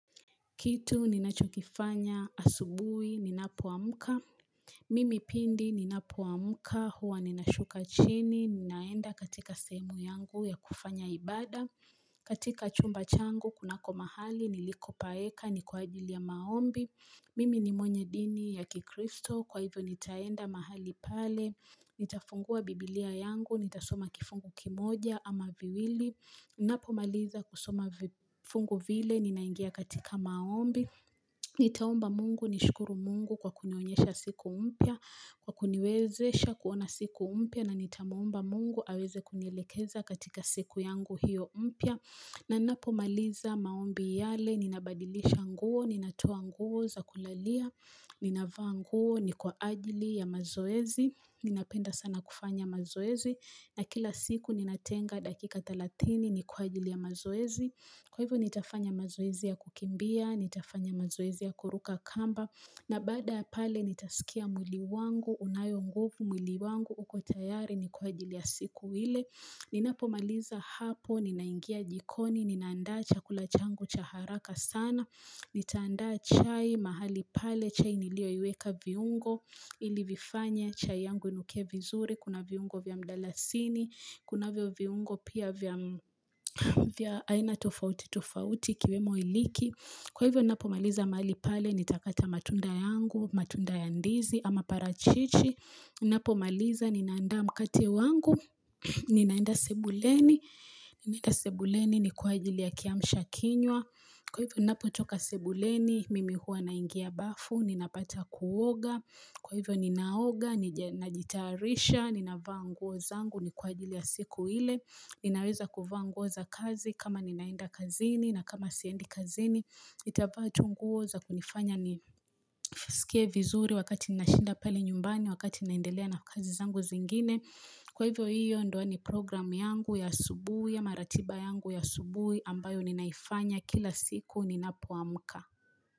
Kitu ninachokifanya asubuhi ninapoamka. Mimi pindi ninapoamka huwa ninashuka chini ninaenda katika sehemu yangu ya kufanya ibada. Katika chumba changu kunako mahali nilikopaweka ni kwa ajili ya maombi. Mimi ni mwenye dini ya kikristo kwa hivyo nitaenda mahali pale. Nitafungua biblia yangu nitasoma kifungu kimoja ama viwili. Ninapomaliza kusoma vifungu vile ninaingia katika maombi, nitaomba mungu nishukuru mungu kwa kunionyesha siku mpya, kwa kuniwezesha kuona siku mpya na nitamuomba mungu aweze kunielekeza katika siku yangu hiyo mpya. Na ninapo maliza maombi yale, ninabadilisha nguo, ninatoa nguo, za kulalia, ninavaa nguo, ni kwa ajili ya mazoezi, ninapenda sana kufanya mazoezi, na kila siku ninatenga dakika thelatini ni kwa ajili ya mazoezi. Kwa hivyo nitafanya mazoezi ya kukimbia, nitafanya mazoezi ya kuruka kamba, na baada pale nitasikia mwili wangu, unayo nguvu mwili wangu, uko tayari ni kwa ajili ya siku ile. Ninapomaliza hapo, ninaingia jikoni, ninaandaa chakula changu cha haraka sana, nitaandaa chai, mahali pale chai niliyoiweka viungo, ilivifanya chai yangu inuke vizuri, Kuna viungo vya mdalasini, kunavyo viungo pia vya aina tofauti tofauti ikiwemo iliki Kwa hivyo ninapomaliza mahali pale nitakata matunda yangu, matunda ya ndizi ama parachichi ninapomaliza ninaanda mkate wangu, ninaenda sebuleni, ninaenda sebuleni ni kwa ajili ya kiamsha kinywa Kwa hivyo napotoka sebuleni, mimi huwa naingia bafu, ninapata kuoga kwa hivyo ninaoga, ninajitarisha, ninavaa nguo zangu ni kwa ajili ya siku ile Ninaweza kuvaa nguo za kazi kama ninaenda kazini na kama siendi kazini nitavaa nguo za kunifanya nisikie vizuri wakati nashinda pale nyumbani wakati naendelea na kazi zangu zingine Kwa hiyo ndio ni programu yangu ya asubuhi ama ratiba yangu ya asubuhi ambayo ninaifanya kila siku ninapoamka.